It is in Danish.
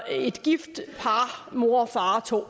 et gift par mor og far og to